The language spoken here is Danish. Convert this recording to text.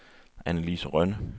Annelise Rønne